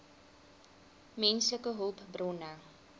menslike hulpbronne